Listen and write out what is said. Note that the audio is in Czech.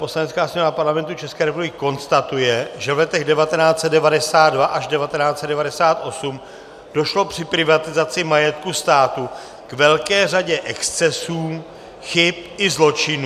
Poslanecká sněmovna Parlamentu České republiky konstatuje, že v letech 1992 až 1998 došlo při privatizaci majetku státu k velké řadě excesů, chyb i zločinů -